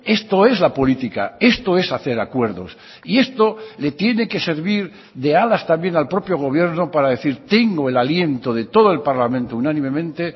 esto es la política esto es hacer acuerdos y esto le tiene que servir de alas también al propio gobierno para decir tengo el aliento de todo el parlamento unánimemente